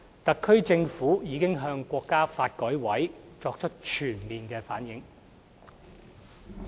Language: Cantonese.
特區政府已向國家發改委作出全面反映。